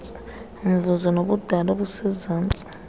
mvuzo nobudala obusezantsi